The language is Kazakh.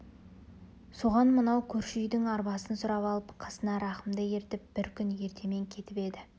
соған мынау көрші үйдің арбасын сұрап алып қасына рахымды ертіп бір күн ертемен кетіп еді